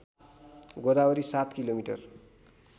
Godavari ७ kilometre